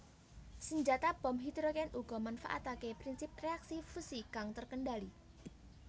Senjata bom hidrogen uga manfaatake prinsip reaksi fusi kang terkendali